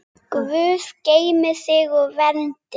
Guð geymi þig og verndi.